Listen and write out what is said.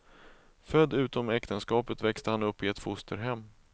Född utom äktenskapet växte han upp i ett fosterhem.